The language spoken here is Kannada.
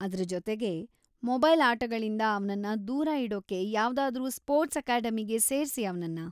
ಅದ್ರ ಜೊತೆಗೆ, ಮೊಬೈಲ್‌ ಆಟಗಳಿಂದ ಅವ್ನನ್ನ ದೂರ ಇಡೋಕೆ ಯಾವ್ದಾದ್ರೂ ಸ್ಪೋರ್ಟ್ಸ್‌ ಅಕಾಡೆಮಿಗೆ ಸೇರ್ಸಿ ಅವ್ನನ್ನ.